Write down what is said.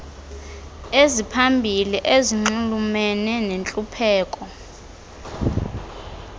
eziphambili ezinxulumene nentlupheko